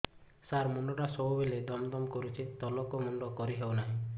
ସାର ମୁଣ୍ଡ ଟା ସବୁ ବେଳେ ଦମ ଦମ କରୁଛି ତଳକୁ ମୁଣ୍ଡ କରି ହେଉଛି ନାହିଁ